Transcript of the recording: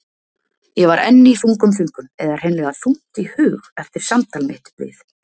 Ég var enn í þungum þönkum eða hreinlega þungt í hug eftir samtal mitt við